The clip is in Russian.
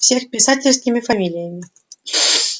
всех писательскими фамилиями